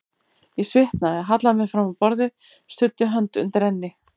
Ég svitnaði, hallaði mér fram á borðið, studdi hönd undir enni.